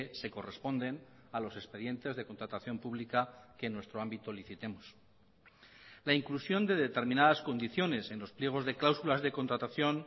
se corresponden a los expedientes de contratación pública que en nuestro ámbito licitemos la inclusión de determinadas condiciones en los pliegos de cláusulas de contratación